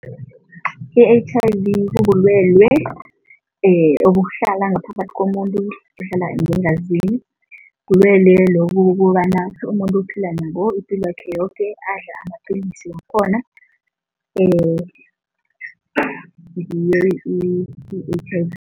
I-H_I_V bubulwelwe obuhlala ngaphakathi komuntu ngeengazini. Bulwelwe lobu ukobana umuntu uphila nabo ipilwakhe yoke adla amapalisi wakhona i-H_I_V.